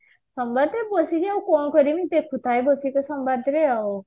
ସମୟରେ ବସିକି ଆଉ କଣ କରିବି ଦେଖୁଥାଏ ଦେଖୁଛି ସମ୍ବାଦରେ ଆଉ